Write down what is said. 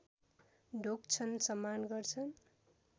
ढोग्छन् सम्मान गर्छन्